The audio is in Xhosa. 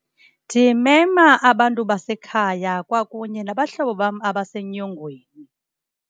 Ndimema abantu basekhaya kwakunye nabahlobo bam abasenyongweni.